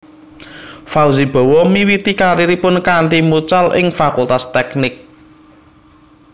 Fauzi Bowo miwiti kariripun kanthi mucal ing Fakultas Teknik